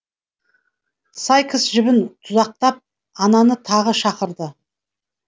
сайкс жібін тұзақтап ананы тағы шақырды